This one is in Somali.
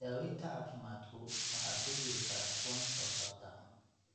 Daawaynta caafimaadku waxa ku jiri kara kuwan soo socda.